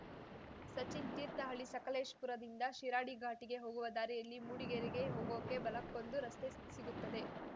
ಸಚಿನ್‌ ತೀರ್ಥಹಳ್ಳಿ ಸಕಲೇಶಪುರದಿಂದ ಶಿರಾಡಿ ಘಾಟಿಗೆ ಹೋಗುವ ದಾರಿಯಲ್ಲಿ ಮೂಡಿಗೆರೆಗೆ ಹೋಗೋಕೆ ಬಲಕ್ಕೊಂದು ರಸ್ತೆ ಸಿಗುತ್ತದೆ